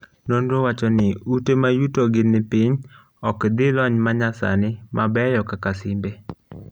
nonro wacho ni ute mayuto gi nipiny ok dhi lony manyasani mabeyo kaka simbe